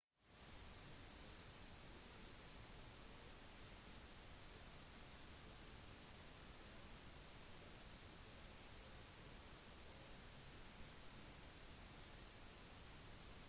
musikk registreres ofte ved hjelp av sofistikerte datamaskiner for prosess og miksing av lyd